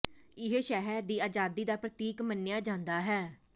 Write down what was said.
ਇਹ ਸ਼ਹਿਰ ਦੀ ਆਜ਼ਾਦੀ ਦਾ ਪ੍ਰਤੀਕ ਮੰਨਿਆ ਜਾਂਦਾ ਹੈ